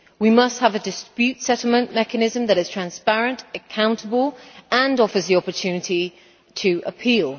We must have a dispute settlement mechanism that is transparent and accountable and offers the opportunity to appeal.